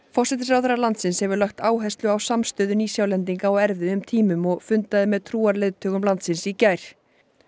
forsætisráðherra landsins hefur lagt áherslu á samstöðu Nýsjálendinga á erfiðum tímum og fundaði með trúarleiðtogum landsins í gær